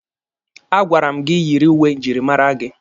A gwara m gị yiri uwe njirimara gị!